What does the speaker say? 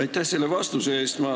Aitäh selle vastuse eest!